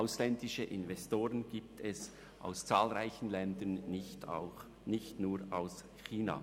Ausländische Investoren gibt es aus zahlreichen Ländern, nicht nur aus China.